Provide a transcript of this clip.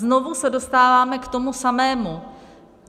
Znovu se dostáváme k tomu samému.